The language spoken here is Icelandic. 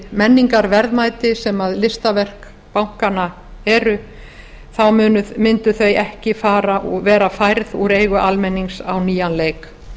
menningarverðmæti sem listaverk bankanna eru ekki vera færð úr eigu almennings á nýjan leik